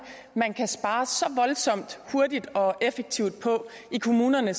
man kan spare så voldsomt hurtigt og effektivt på i kommunerne